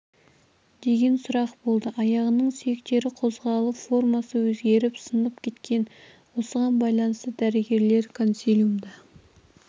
деген сұрақ болды аяғының сүйектері қозғалып формасы өзгеріп сынып кеткен осыған байланысты дәрігерлер консилиумда